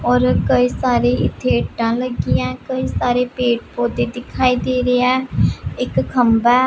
ਔਰ ਕਈ ਸਾਰੀ ਇੱਥੇ ਇਂਟਾ ਲੱਗੀਆਂ ਹੈ ਕਈ ਸਾਰੇ ਪੇੜ ਪੌਧੇ ਦਿਖਾਈ ਦੇ ਰਿਹਾ ਹੈ ਇੱਕ ਖੰਭਾ--